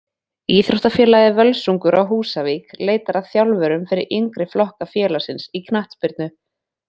Íþróttafélagið Völsungur á Húsavík leitar að þjálfurum fyrir yngri flokka félagsins í knattspyrnu.